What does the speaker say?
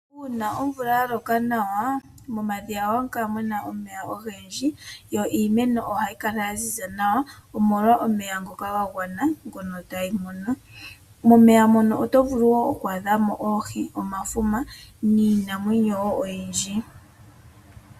Uuna omvula ya loka nawa, momadhiya ohamukala muna omeya ogendji yo iimeno ohayi kala yaziza nawa omolwa omeya ngoka ga gwana nawa. Momeya mono otovulu oku adha mo iinamwenyo ngaashi omafuma noohi na yilwe.